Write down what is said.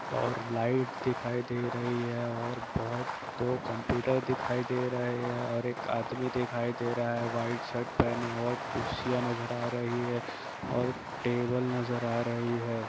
--और लाइट दिखाई दे रही है और बहुत- दो कंप्यूटर दिखाई दे रहे हैं और एक आदमी दिखाई दे रहा है व्हाइट शर्ट पहने हुए और कुर्सियां नजर आ रही है और टेबिल नजर आ रही है।